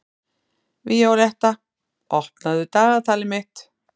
Víóletta, opnaðu dagatalið mitt.